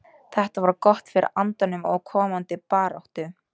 Þetta var gott fyrir andann og komandi baráttu.